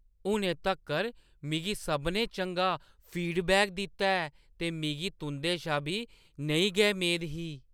हुनै तक्कर मिगी सभनें चंगा फीडबैक दित्ता ऐ ते मिगी तुंʼदे शा बी नेही गै मेद ही।